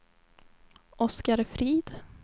Oscar Frid